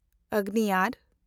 ᱟᱜᱽᱱᱤᱭᱟᱨ